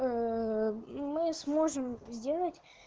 мы сможем сделать